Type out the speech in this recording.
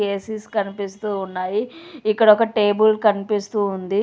AC స్ కనిపిస్తూ ఉన్నాయి ఇక్కడ ఒక టేబుల్ కనిపిస్తూ ఉంది